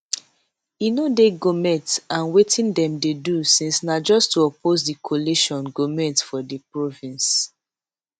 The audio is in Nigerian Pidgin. e no dey goment and wetin dem dey do since na just to oppose di coalition goment for di province